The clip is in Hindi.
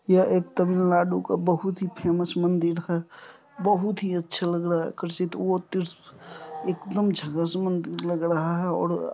यह एक तमिलनाडु का एक बहुत ही फेमस मंदिर है बहुत ही अच्छे लग रहा आकर्षित एकदम झकास मंदिर लग रहा हैऔर---